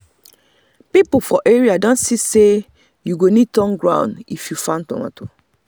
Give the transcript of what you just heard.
people for area don see say you go need turn ground if you farm tomato.